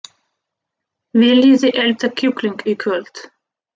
Viljiði elda kjúkling í kvöld?